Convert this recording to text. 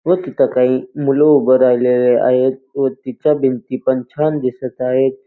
व तिथ काही मूल उभी राहिलेली आहेत व तिच्या भिंती पण छान दिसत आहेत.